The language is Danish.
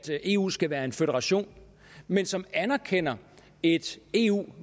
eu skal være en føderation men som anerkender et eu